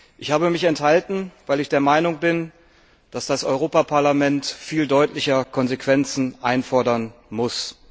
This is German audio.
Ich habe mich enthalten, weil ich der Meinung bin, dass das Europäische Parlament viel deutlicher Konsequenzen einfordern muss.